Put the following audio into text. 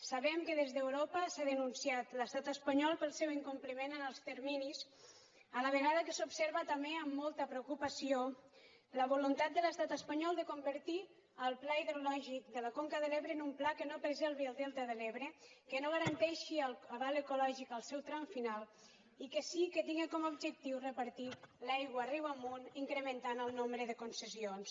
sabem que des d’europa s’ha denunciat l’estat espanyol pel seu incompliment en els terminis a la vegada que s’observa també amb molta preocupació la voluntat de l’estat espanyol de convertir el pla hidrològic de la conca de l’ebre en un pla que no preservi el delta de l’ebre que no garanteixi el cabal ecològic al seu tram final i que sí que tinga com a objectiu repartir l’aigua riu amunt incrementant el nombre de concessions